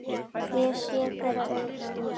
Ég sé þeirra augum.